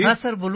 হ্যাঁ স্যার